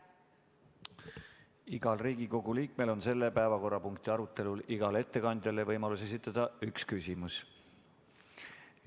Igal Riigikogu liikmel on selle päevakorrapunkti arutelul igale ettekandjale võimalus esitada üks küsimus.